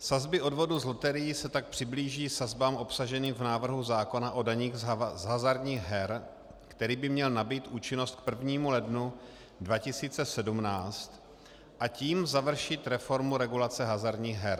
Sazby odvodu z loterií se tak přiblíží sazbám obsaženým v návrhu zákona o daních z hazardních her, který by měl nabýt účinnost k 1. lednu 2017, a tím završit reformu regulace hazardních her.